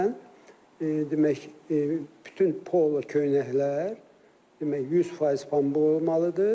Əsasən, demək, bütün polo köynəklər, demək 100% pambıq olmalıdır.